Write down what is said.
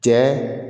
Cɛ